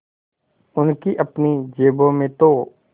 उनकी अपनी जेबों में तो